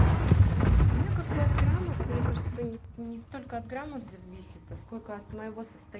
у меня как бы от граммов мне кажется они не столько от граммов зависит а сколько от моего сост